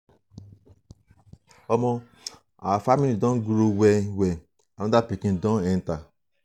omo our family don grow well-well anoda pikin don enta.